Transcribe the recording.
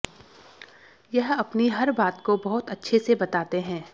यह अपनी हर बात को बहुत अच्छे से बताते है